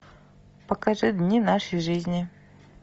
покажи дни нашей жизни